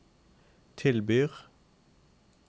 tilbyr